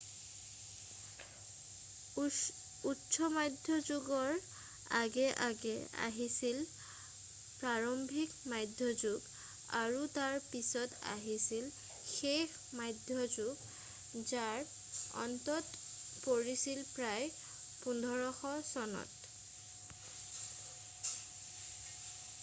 উচ্চ মধ্যযুগৰ আগে আগে আহিছিল প্ৰাৰম্ভিক মধ্যযুগ আৰু তাৰ পিছত আহিছিল শেষ মধ্যযুগ যাৰ অন্ত পৰিছিল প্ৰায় 1500 চনত